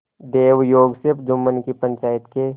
दैवयोग से जुम्मन की पंचायत के